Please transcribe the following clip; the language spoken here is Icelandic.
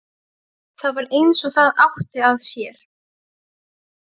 Það var eins og það átti að sér.